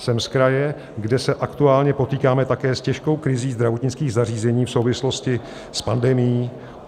Jsem z kraje, kde se aktuálně potýkáme také s těžkou krizí zdravotnických zařízení v souvislosti s pandemií.